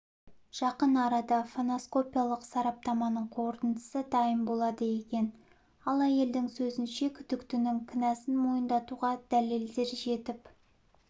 жақын арада фоноскопиялық сараптаманың қорытындысы дайын болады екен ал әйелдің сөзінше күдіктінің кінәсін мойындатуға дәлелдер жетіп